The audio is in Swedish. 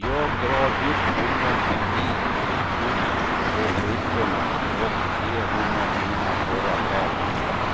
Jag drar upp honom en bit upp på klipporna och ger honom mina torra kläder.